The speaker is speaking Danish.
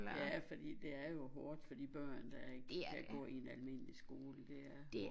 Ja fordi det er jo hårdt for de børn der ikke kan gå i en almindelig skole det er hårdt